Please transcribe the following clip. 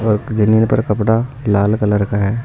जमीन पर कपड़ा लाल कलर का है।